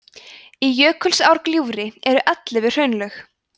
í jökulsárgljúfri eru ellefu hraunlög